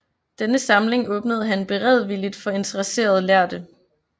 Denne samling åbnede han beredvilligt for interesserede lærde